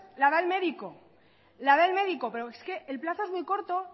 la da el médico la da el médico pero es que el plazo es muy corto